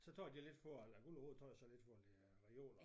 Så tager de lidt for eller Guld & Rod tage sig lidt for at lægge reoler